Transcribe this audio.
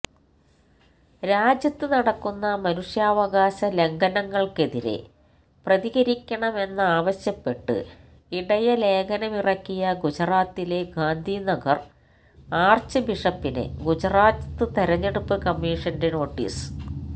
രാജ്യത്ത് നടക്കുന്ന മനുഷ്യാവകാശ ലംഘനങ്ങള്ക്കെതിരെ പ്രതികരിക്കണമെന്നാവശ്യപ്പെട്ട് ഇടയലേഖനമിറക്കിയ ഗുജറാത്തിലെ ഗാന്ധിനഗര് ആര്ച്ച് ബിഷപ്പിന് ഗുജറാത്ത് തെരഞ്ഞെടുപ്പ് കമ്മീഷന്റെ നോട്ടീസ്